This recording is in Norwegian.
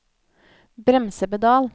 bremsepedal